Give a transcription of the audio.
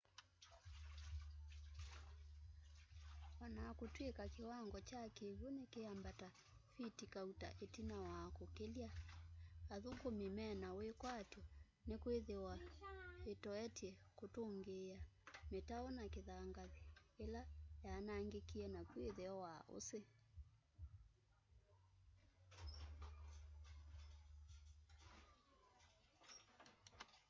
onakutwika kiwango kya kiwu nikiambata fiti kauta itina wa kukilya athukumi mena wikwatyo nikwithwa itoetye kutungiia mitau ya kithangathi ila yaanangikie naku itheo wa usi